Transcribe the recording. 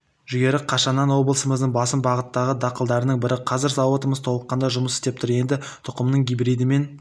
жүгері қашаннан облысымыздың басым бағыттағы дақылдарының бірі қазір зауытымыз толыққанды жұмыс істеп тұр енді тұқымның гибридімен